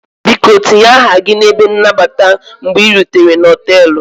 Biko tinye aha gị n'ebe nnabata mgbe ị rutere na họtelu